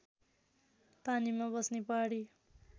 पानीमा बस्ने पहाडी